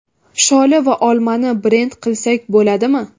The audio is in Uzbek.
Sholi va olmani brend qilsak bo‘ladimi?